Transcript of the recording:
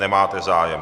Nemáte zájem.